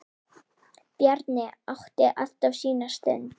Bjarni átti alltaf sína stund.